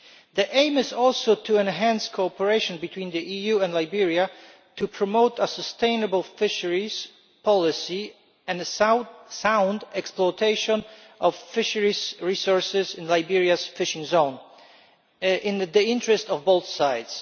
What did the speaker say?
The aim is also to enhance cooperation between the EU and Liberia to promote a sustainable fisheries policy and a sound exploitation of fisheries resources in Liberia's fishing zone in the interest of both sides.